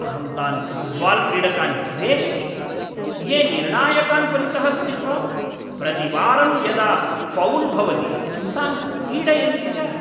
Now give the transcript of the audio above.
अहं तान् फ़ुट्बाल्क्रीडकान् द्वेष्मि, ये निर्णायकान् परितः स्थित्वा, प्रतिवारं यदा फ़ौल् भवति तान् पीडयन्ति च।